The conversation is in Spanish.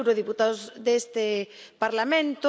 Cuatro eurodiputados de este Parlamento.